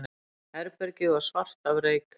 Herbergið var svart af reyk.